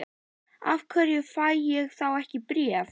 Af hverju fæ ég þá ekki bréf?